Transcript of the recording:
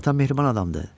Atam mehriban adamdı.